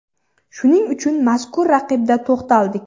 Shuning uchun mazkur raqibda to‘xtaldik.